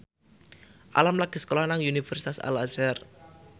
Alam lagi sekolah nang Universitas Al Azhar